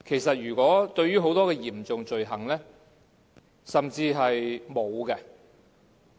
就很多嚴重罪行而言，甚至是沒有時限的。